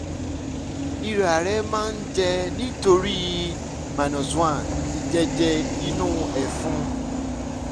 ìárẹ̀ máa ń jẹ́ nítorí - one ìjẹ́jẹ́ inú ẹ̀fun